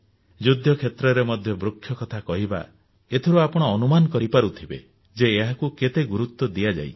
ଯୁଦ୍ଧ କ୍ଷେତ୍ରରେ ମଧ୍ୟ ବୃକ୍ଷ କଥା କହିବା ଏଥିରୁ ଆପଣ ଅନୁମାନ କରିପାରୁଥିବେ ଯେ ଏହାକୁ କେତେ ଗୁରୁତ୍ୱ ଦିଆଯାଇଛି